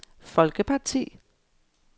folkeparti